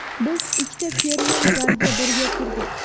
Biz ikkita fermer zalga birga kirdik.